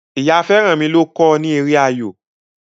Ìyá Feranmi ló kọ ni èrè ayọ.